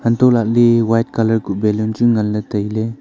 antoh lah le white colour kuh ballon chu ngan le tailey.